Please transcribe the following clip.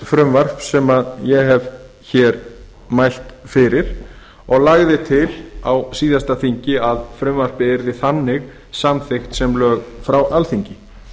frumvarps sem ég hef hér mælt fyrir og lagði til á síðasta þingi að frumvarpið yrði þannig samþykkt sem lög frá alþingi